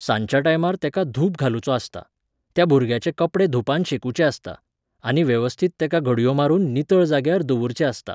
सांजच्या टायमार तेका धूप घालुचो आसता, त्या भुरग्याचे कपडे धुपान शेकुचे आसता, आनी वेवस्थीत तेका घडयो मारून नितळ जाग्यार दवुरचें आसता